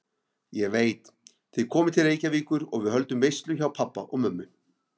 Ég veit, þið komið til Reykjavíkur og við höldum veislu hjá pabba og mömmu